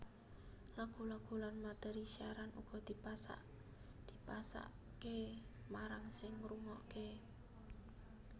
Lagu lagu lan materi siaran uga dipasake marang sing ngrungokake